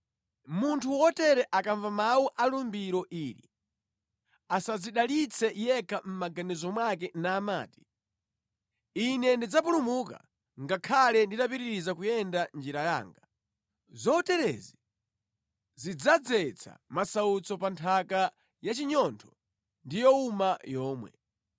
Munthu wotere akamva mawu a lumbiro ili, asadzidalitse yekha mʼmaganizo mwake namati, “Ine ndidzapulumuka ngakhale nditapitiriza kuyenda njira yanga.” Zoterezi zidzadzetsa masautso pa nthaka ya chinyontho ndi yowuma yomwe.